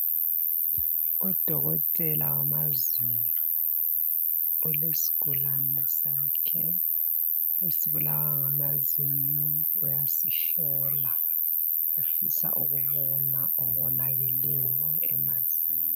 Udokotela wamazinyo ulesigulane sakhe esibulawa ngamazinyo uyasihlola efisa ukubona okonakeleyo emazinyweni.